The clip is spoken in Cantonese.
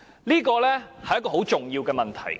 這是很重要的問題。